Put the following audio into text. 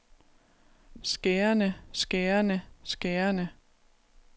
skærende skærende skærende